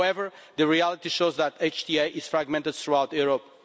However, the reality shows that HTA is fragmented throughout Europe.